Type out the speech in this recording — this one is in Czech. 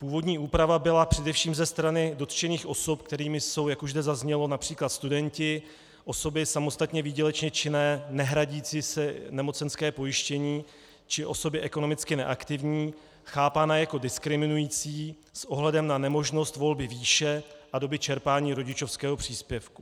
Původní úprava byla především ze strany dotčených osob, kterými jsou, jak už zde zaznělo, například studenti, osoby samostatně výdělečné činné nehradící si nemocenské pojištění či osoby ekonomicky neaktivní, chápána jako diskriminující s ohledem na nemožnost volby výše a doby čerpání rodičovského příspěvku.